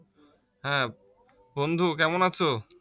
হ্যাঁ, বন্ধু কেমন আছো?